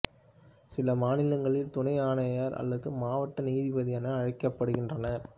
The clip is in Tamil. சில மாநிலங்களில் துணை ஆணையர் அல்லது மாவட்ட நீதிபதி என அழைக்கப்படுகின்றனர்